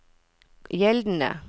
gjeldende